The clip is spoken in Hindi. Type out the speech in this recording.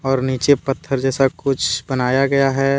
और नीचे पत्थर जैसा कुछ बनाया गया है।